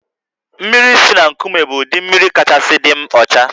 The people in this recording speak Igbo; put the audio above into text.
Mmiri si na nkụme bụ ụdị mmiri kachasị dị ọcha